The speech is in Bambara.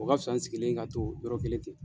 U ka fisa n sigilen ka to yɔrɔ kelen ten.